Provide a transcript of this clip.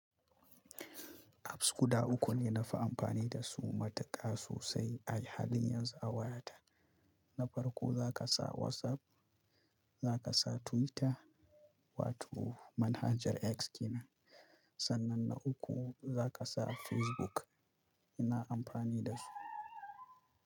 Apps guda uku ne na fi amfani da su matuƙa sosai a halin yanzu a wayata. Na farko za ka sa WhatsApp, za ka sa Twitter wato manhajar X kenan, sannan na uku za ka sa Facebook. Ina amfani da su.